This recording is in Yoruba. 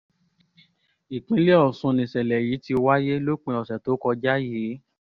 ìpínlẹ̀ ọ̀sùn nìṣẹ̀lẹ̀ yìí ti wáyé lópin ọ̀sẹ̀ tó kọjá yìí